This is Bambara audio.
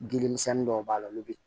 Dilimisɛnni dɔw b'a la olu bi